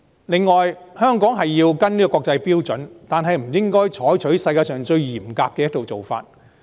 此外，香港要跟隨國際標準，但不應該採用世界上最嚴格的一套做法。